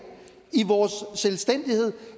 i vores selvstændighed